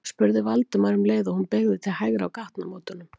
spurði Valdimar um leið og hún beygði til hægri á gatnamótunum.